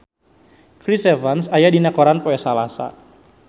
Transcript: Chris Evans aya dina koran poe Salasa